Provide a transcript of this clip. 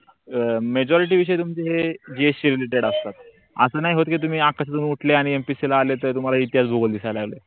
अं majority विषय तुमचं हे जे gs related असतात अस नाही होत कि तुम्ही आकाशातून उठल्या आणि MPSC आले तर तुम्हाले इतिहास भूगोल दिसा लागले